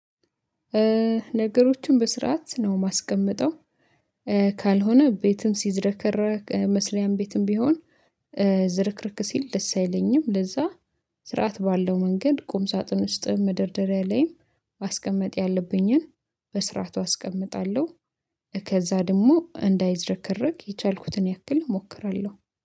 ነገሮችን በስርዓት ነው ማስቀምጠው ካልሆነ ቤትም ሲዝረከረክ መስሪያም ቤትም ቢሆን ዝርክርክ ሲል ደስ አይለኝም ለዛ ስርዓት ባለው መንገድ ቁም ሳጥን ውስጥም መደርደሪያ ላይም ማስቀመጥ ያለብኝን በስርዓቱ አስቀምጣለሁ። ከዛ ደግሞ እንዳይዝረከረክ የቻልኩትን ያክል እሞክራለሁ